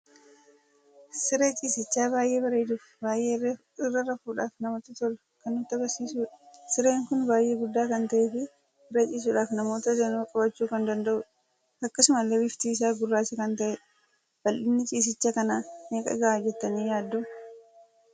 Siree ciisicha baay'ee bareeduu fi baay'ee irra rafuudhaf namatti tolu kan nutti agarsiisudha. Sireen kun baay'ee guddaa kan ta'ee fi irraa ciisuudhaf namoota daanuu qabachuu kan danda'udha. Akkasumallee bifti isa gurracha kan ta'edha. Baldhinni ciisicha kana meeqa ta'a jettani yaaddu?